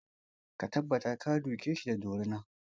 Ka tabbata ka duke shi da dorina!